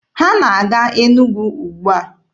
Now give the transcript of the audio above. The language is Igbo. Ha na-aga Enugwu ugbua?